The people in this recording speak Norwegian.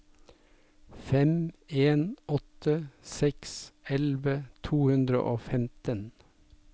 fem en åtte seks elleve to hundre og femten